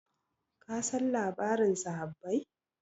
kasan labarin sahabbai